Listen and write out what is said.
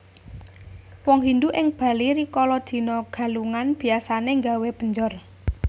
Wong Hindu ing Bali rikala dina Galungan biasané nggawé penjor